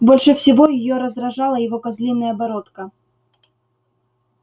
больше всего её раздражала его козлиная бородка